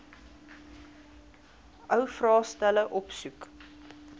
ou vraestelle opsoek